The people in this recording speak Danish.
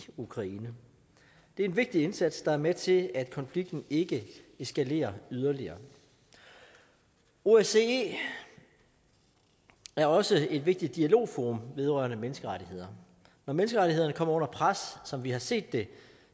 ukraine det er en vigtig indsats der er med til at konflikten ikke eskalerer yderligere osce er også et vigtigt dialogforum vedrørende menneskerettigheder når menneskerettighederne kommer under pres som vi har set det